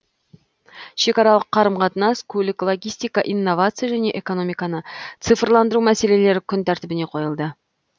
шекаралық қарым қатынас көлік логистика инновация және экономиканы цифрландыру мәселелері күн тәртібіне қойылды